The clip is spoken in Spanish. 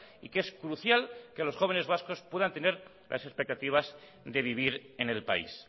y que es crucial que los jóvenes vascos puedan tener las expectativas de vivir en el país